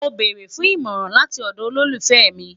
Mo beere fun imọran lati ọdọ olufẹ mi